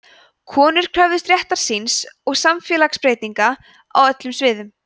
konur kröfðust réttar síns og samfélagsbreytinga á öllum sviðum